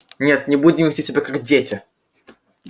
нет не будем вести себя как дети